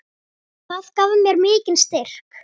Það gaf mér mikinn styrk.